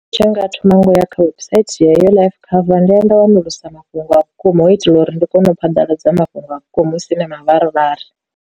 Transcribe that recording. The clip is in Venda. Tshe nga thoma ngo ya website yeyo life cover nda ya nda wanulusa mafhungo a vhukuma hu u itela uri ndi kone u phaḓaladza mafhungo a vhukuma husi na mavharivhari.